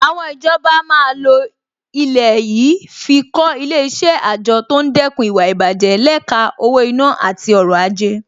Àwọn ìjọba máa lo ilẹ̀ yìí fi kọ́ Ilé-iṣẹ́ àjọ tó ń dẹ́kun ìwà ìbàjẹ́ lẹ́ka owó-ìná àti ọrọ̀-ajé